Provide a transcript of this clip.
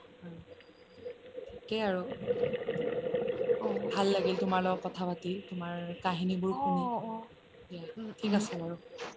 ঠিকে আৰু ভাল লাগিল তোমাৰ লগত কথা পাতি তোমাৰ কাহিনী বোৰ শুনি দিয়া ঠিক আছে বাৰু